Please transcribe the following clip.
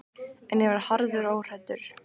En ég var harður og óhræddur.